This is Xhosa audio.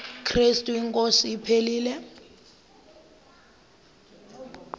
krestu inkosi ephilileyo